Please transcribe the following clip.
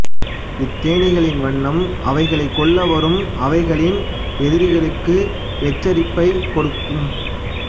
இத்தேனிக்களின் வண்ணம் அவைகளைக் கொல்ல வரும் அவைகளின் எதிரிகளுக்கு எச்சரிப்பைக் கொடுக்கும்